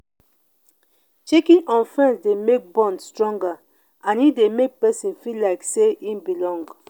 checking on friends de make bond stronger and e de make persin feel like say e belong